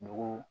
Dugu